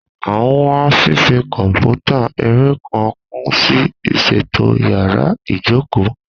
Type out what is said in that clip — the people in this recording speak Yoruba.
A n wa fifi kọnputa ere kan kun si iṣeto yàrá ìjókòó.